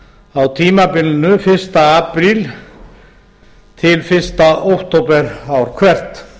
á tímabilinu fyrsta apríl til fyrsta október ár hvert